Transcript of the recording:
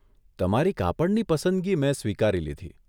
તમારી કાપડની પસંદગી મેં સ્વીકારી લીધી.